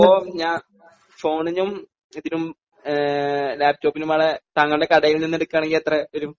അപ്പോൾ ഞാൻ ഫോണിനും ഇതിനും ലാപ്ടോപ് കൂടെ താങ്കളുടെ കടയിൽനിന്ന് എടുക്കുകയാണെങ്കിൽ എത്ര വരും?